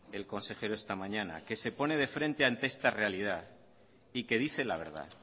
el consejero esta mañana que se pone de frente ante esta realidad y que dice la verdad